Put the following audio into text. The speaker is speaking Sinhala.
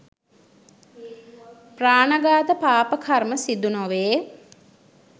ප්‍රාණඝාත පාප කර්මය සිදුනොවේ.